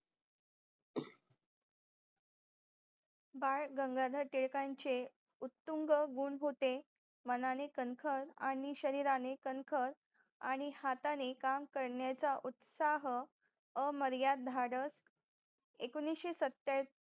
बाळ गंगाधर टिळकांचे उतुंग गुण होते मनाने कणखर आणि शरीराने कणखर आणि हाताने काम करण्याचा उत्साह अमर्याद भारत